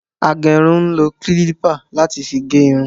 Agérun ń lo kílípà láti fi gé irun